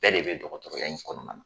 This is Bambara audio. Bɛɛ de bɛ dɔkɔtɔrɔya in kɔnɔna na.